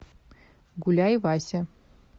гуляй вася